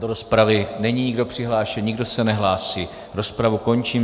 Do rozpravy není nikdo přihlášen, nikdo se nehlásí, rozpravu končím.